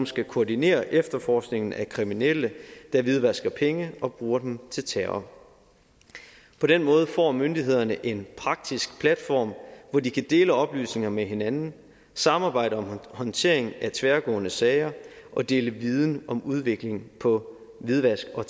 skal koordinere efterforskningen af kriminelle der hvidvasker penge og bruger dem til terror på den måde får myndighederne en praktisk platform hvor de kan dele oplysninger med hinanden samarbejde om håndtering af tværgående sager og dele viden om udviklingen på hvidvask og